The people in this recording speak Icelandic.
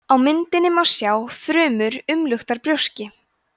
á myndinni má sjá frumur umluktar brjóski